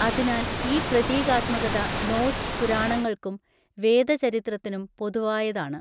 അതിനാൽ ഈ പ്രതീകാത്മകത നോർസ് പുരാണങ്ങൾക്കും വേദചരിത്രത്തിനും പൊതുവായതാണ്.